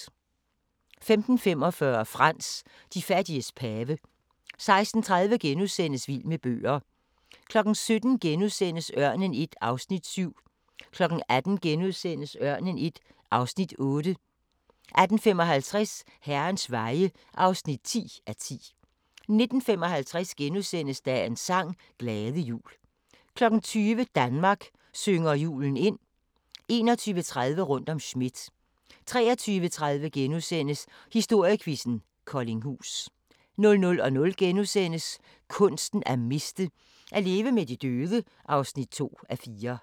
15:45: Frans: De fattiges pave 16:30: Vild med bøger * 17:00: Ørnen I (Afs. 7)* 18:00: Ørnen I (Afs. 8)* 18:55: Herrens veje (10:10) 19:55: Dagens sang: Glade jul * 20:00: Danmark synger julen ind 21:30: Rundt om Schmidt 23:30: Historiequizzen: Koldinghus * 00:00: Kunsten at miste: At leve med de døde (2:4)*